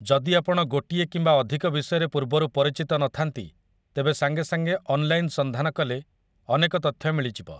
ଯଦି ଆପଣ ଗୋଟିଏ କିମ୍ବା ଅଧିକ ବିଷୟରେ ପୂର୍ବରୁ ପରିଚିତ ନଥାନ୍ତି, ତେବେ ସାଙ୍ଗେସାଙ୍ଗେ ଅନ୍‌ଲାଇନ୍‌‌ ସନ୍ଧାନ କଲେ ଅନେକ ତଥ୍ୟ ମିଳିଯିବ ।